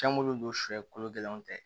Caman min don sɔ kolo gɛlɛnw tɛ